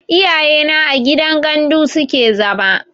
Iyaye na a gidan gandu suke zama